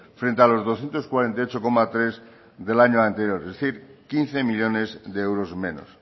frente a los doscientos cuarenta y ocho coma tres del año anteriores es decir quince millónes de euros menos